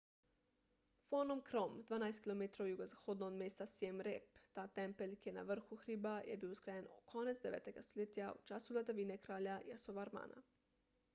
phnom krom 12 km jugozahodno od mesta siem reap ta tempelj ki je na vrhu hriba je bil zgrajen konec 9 stoletja v času vladavine kralja yasovarmana